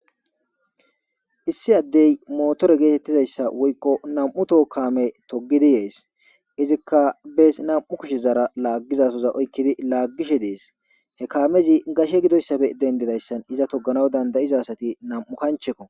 issi addey motore geetettizayssa woykko nam7u toho kame togidi yees izikka bees nam7u kishe zara laaggizasoza oykkidi laaggishe dees he kaamezi gashe gidoyssafe dendidayssan iza toganaw dandayiza asati nam7u kanchekko